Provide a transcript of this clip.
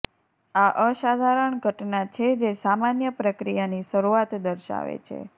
આ અસાધારણ ઘટના છે જે સામાન્ય પ્રક્રિયાની શરૂઆત દર્શાવે છે